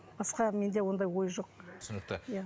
басқа менде ондай ой жоқ түсінікті иә